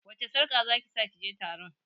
Wacce sarƙa zaki sa kije taron?